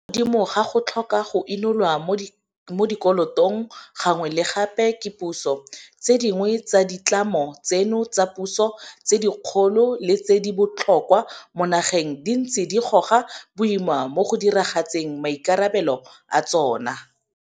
Mo godimo ga go tlhoka go inolwa mo dikolotong gangwe le gape ke puso, tse dingwe tsa ditlamo tseno tsa puso tse dikgolo le tse di botlhokwa mo nageng di ntse di goga boima mo go diragatseng maikarabelo a tsona.